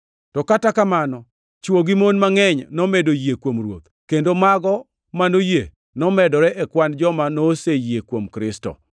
To kata kamano, chwo gi mon mangʼeny nomedo yie kuom Ruoth, kendo mago manoyie nomedore e kwan joma noseyie kuom Kristo.